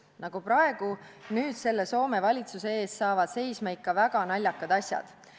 Nagu praegu nüüd selle Soome valitsuse ees saavad seisma ikka väga naljakad asjad.